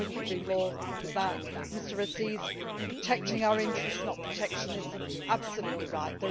I could not agree more with that. Mr Assis, protecting our interests, not protectionism, is absolutely